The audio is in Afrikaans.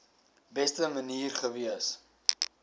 beste manier gewees